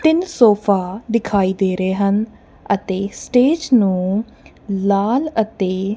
ਤਿੰਨ ਸੋਫਾ ਦਿਖਾਈ ਦੇ ਰਹੇ ਹਨ ਅਤੇ ਸਟੇਜ ਨੂੰ ਲਾਲ ਅਤੇ--